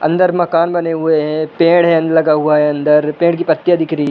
अंदर मकान बने हुए हैं। पेड़ हैं लगा हुआ है अंदर। पेड़ की पत्तियां दिख रही --